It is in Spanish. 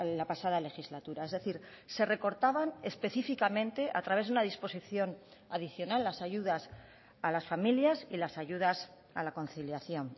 la pasada legislatura es decir se recortaban específicamente a través de una disposición adicional las ayudas a las familias y las ayudas a la conciliación